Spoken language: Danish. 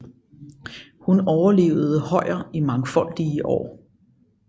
Hun overlevede Hojer i mangfoldige år